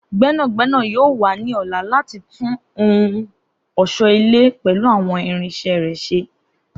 Gbẹnagbẹna yoo wa ni ọla lati tun awọn ohun ọṣọ-ile pẹlu awọn irinṣẹ rẹ ṣe.